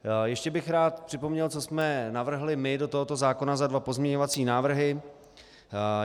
Ještě bych rád připomněl, co jsme navrhli my do tohoto zákona za dva pozměňovací návrhy.